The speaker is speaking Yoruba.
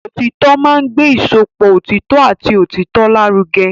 Òtítọ́ máa ń gbé ìsopọ̀ òtítọ́ àti òtítọ́ lárugẹ.